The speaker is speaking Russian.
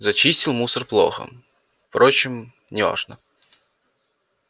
зачистил мусор плохо впрочем не важно